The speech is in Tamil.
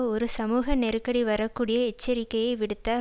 ஒரு சமூக நெருக்கடி வரக்கூடிய எச்சரிக்கையை விடுத்த